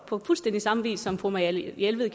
på fuldstændig samme vis som fru marianne jelved